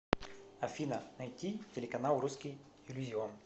афина найти телеканал русский иллюзион